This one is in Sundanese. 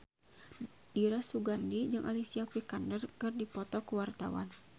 Dira Sugandi jeung Alicia Vikander keur dipoto ku wartawan